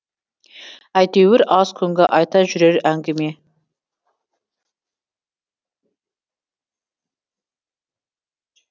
әйтеуір аз күнгі айта жүрер әңгіме